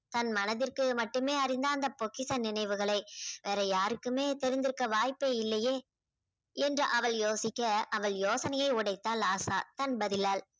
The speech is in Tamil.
தன் மனதிற்கே மட்டுமே அறிந்த அந்த பொக்கிஷ நினைவுகளை வேற யாருக்குமே தெரிந்திருக்க வாய்ப்பே இல்லையே என்று அவள் யோசிக்க அவள் யோசனையை உடைத்தாள் ஆசா தன் பதிலால்.